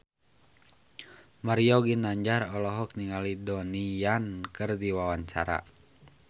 Mario Ginanjar olohok ningali Donnie Yan keur diwawancara